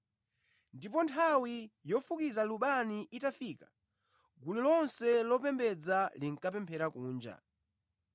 Ndipo nthawi yofukiza lubani itafika, gulu lonse lopembedza linkapemphera kunja.